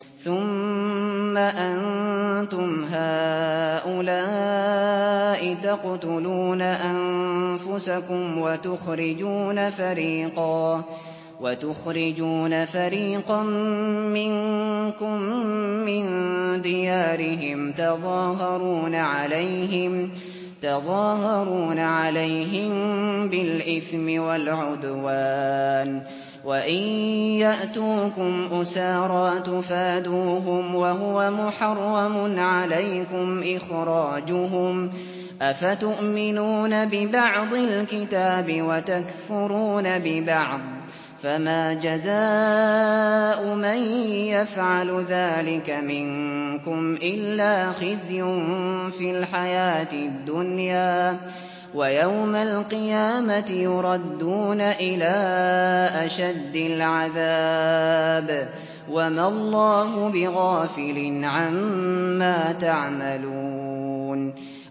ثُمَّ أَنتُمْ هَٰؤُلَاءِ تَقْتُلُونَ أَنفُسَكُمْ وَتُخْرِجُونَ فَرِيقًا مِّنكُم مِّن دِيَارِهِمْ تَظَاهَرُونَ عَلَيْهِم بِالْإِثْمِ وَالْعُدْوَانِ وَإِن يَأْتُوكُمْ أُسَارَىٰ تُفَادُوهُمْ وَهُوَ مُحَرَّمٌ عَلَيْكُمْ إِخْرَاجُهُمْ ۚ أَفَتُؤْمِنُونَ بِبَعْضِ الْكِتَابِ وَتَكْفُرُونَ بِبَعْضٍ ۚ فَمَا جَزَاءُ مَن يَفْعَلُ ذَٰلِكَ مِنكُمْ إِلَّا خِزْيٌ فِي الْحَيَاةِ الدُّنْيَا ۖ وَيَوْمَ الْقِيَامَةِ يُرَدُّونَ إِلَىٰ أَشَدِّ الْعَذَابِ ۗ وَمَا اللَّهُ بِغَافِلٍ عَمَّا تَعْمَلُونَ